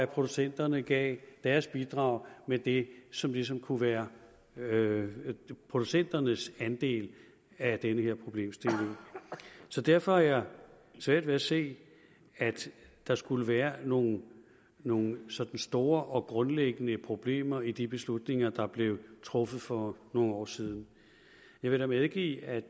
producenterne gav deres bidrag med det som ligesom kunne være producenternes andel af den her problemstilling så derfor har jeg svært ved at se at der skulle være nogle nogle sådan store og grundlæggende problemer i de beslutninger der blev truffet for nogle år siden jeg vil da medgive at